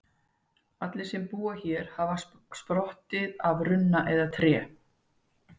Allir sem búa hér hafa sprottið af runna eða tré.